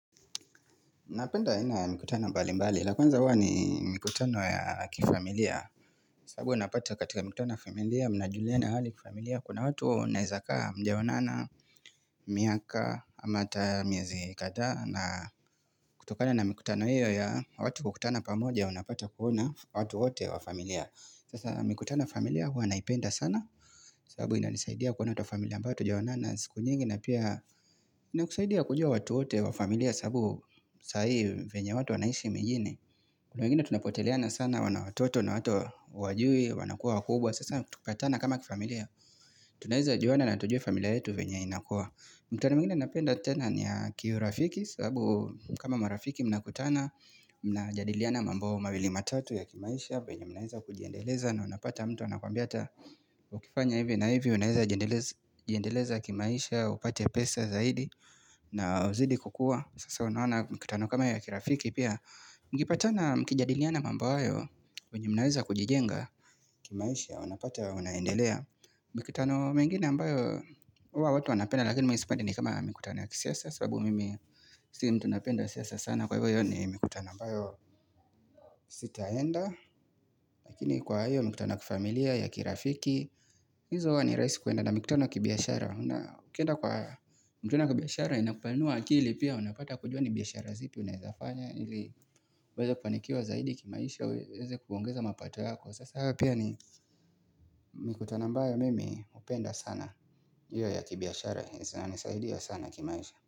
Napenda aina mikutano mbali mbali, lakuanza huwa ni mikutano ya kifamilia sabu unapata katika mikutano ya familia, mnajuliana hali kifamilia Kuna watu naizaka mjawonana, miaka, amata miezi kata na kutokane na mikutano hiyo ya watu kukutana pamoja unapata kuona watu wote wa familia Sasa mikutano ya familia huwa naipenda sana sabu ina nisaidia kuona watu wa familia ambao watu jawonana siku nyingi na pia, nina kusaidia kujua watu wote wa familia sabu sahi venya watu wanaishi mijini. Kunangine tunapoteleana sana wanatoto na watu wajui, wanakua wakubwa. Sasa kutupatana kama kifamilia. Tunaheza juwana na tujue familia yetu venya inakua. Mkutano mwingine napenda tena niya kiyurafiki sabu kama marafiki mnakutana. Mnajadiliana mambo mawili matatu ya kimaisha. Benya mnaiza kujiendeleza na unapata mtu anakuambiata. Ukifanya hivi na hivi unaiza jiendeleza kimaisha. Upate pesa zaidi. Na uzidi kukua Sasa unawona mkitano kama ya kirafiki pia Mkipatana mkijadiliana mambayo Unyumnaweza kujijenga kimaisha unapata unaendelea Mkitano mengine ambayo Uwa watu wanapenda lakini mwisipati ni kama mkitano ya kisiasa sababu mimi si mtu napenda siasa sana Kwa hivyo yo ni mkitano ambayo sitaenda Lakini kwa hivyo mkitano ya kifamilia ya kirafiki hizo wa ni raisi kuenda na mkitano ya kibiyashara Kenda kwa mtuna ya kibiyashara inakupanua akili pia unapata kujua ni biyashara zipi unazafanya ili weze kuanikiwa zaidi kimaisha weze kuongeza mapata yako sasa hapia ni mikutano ambayo mimi upenda sana ya ya kibiashara nisaidia sana kimaisha.